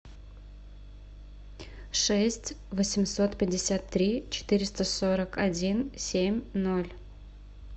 шесть восемьсот пятьдесят три четыреста сорок один семь ноль